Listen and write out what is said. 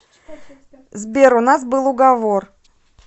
сбер у нас был уговор